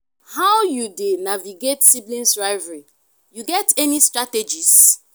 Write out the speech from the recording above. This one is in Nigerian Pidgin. how you dey navigate sibling rivalry you get any strategies?